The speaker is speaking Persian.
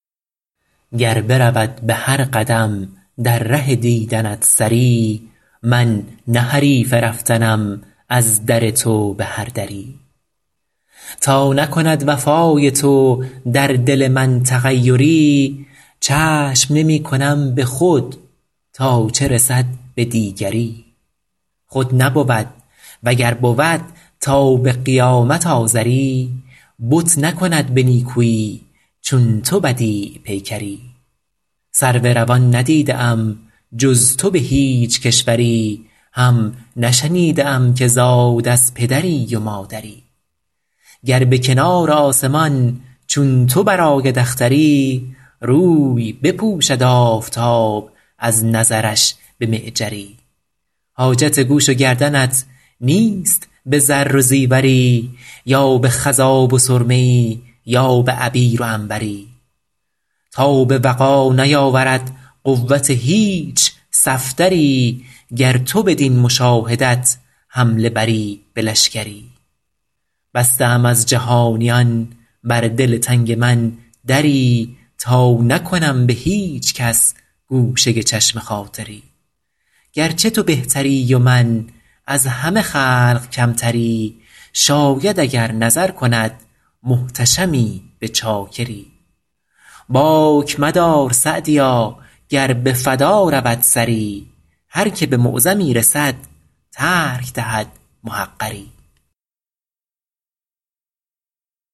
گر برود به هر قدم در ره دیدنت سری من نه حریف رفتنم از در تو به هر دری تا نکند وفای تو در دل من تغیری چشم نمی کنم به خود تا چه رسد به دیگری خود نبود و گر بود تا به قیامت آزری بت نکند به نیکویی چون تو بدیع پیکری سرو روان ندیده ام جز تو به هیچ کشوری هم نشنیده ام که زاد از پدری و مادری گر به کنار آسمان چون تو برآید اختری روی بپوشد آفتاب از نظرش به معجری حاجت گوش و گردنت نیست به زر و زیوری یا به خضاب و سرمه ای یا به عبیر و عنبری تاب وغا نیاورد قوت هیچ صفدری گر تو بدین مشاهدت حمله بری به لشکری بسته ام از جهانیان بر دل تنگ من دری تا نکنم به هیچ کس گوشه چشم خاطری گرچه تو بهتری و من از همه خلق کمتری شاید اگر نظر کند محتشمی به چاکری باک مدار سعدیا گر به فدا رود سری هر که به معظمی رسد ترک دهد محقری